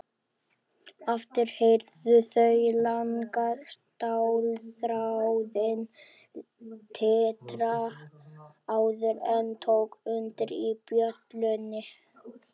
Aftur heyrðu þau langa stálþráðinn titra áður en tók undir í bjöllunni.